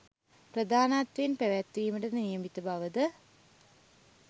ප්‍රධානත්වයෙන් පැවැත්වීමට නියමිත බව ද